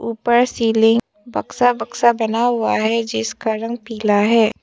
ऊपर सीलिंग बक्सा बक्सा बना हुआ है जिसका रंग पीला है।